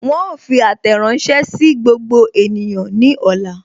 Wọn ó fi àtẹ̀ránsẹ́ sí gbogbo ènìyàn ní ọ̀la